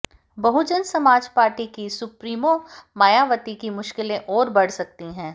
बहुजन Samaj party की supremo Mayawati की मुश्किलें और बढ़ सकती है